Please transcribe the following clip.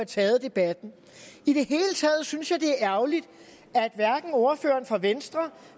taget debatten i det hele taget synes jeg det er ærgerligt at hverken ordføreren fra venstre